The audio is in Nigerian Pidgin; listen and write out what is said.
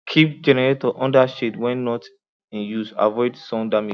keep generator under shed when not in use avoid sun damage